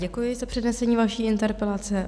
Děkuji za přednesení vaší interpelace.